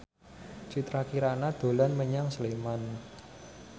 Citra Kirana dolan menyang Sleman